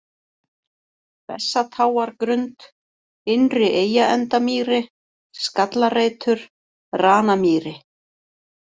Bessatáargrund, Innri-Eyjaendamýri, Skallareitur, Ranamýri